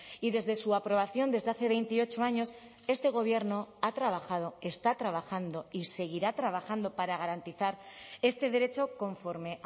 y desde su aprobación desde hace veintiocho años este gobierno ha trabajado está trabajando y seguirá trabajando para garantizar este derecho conforme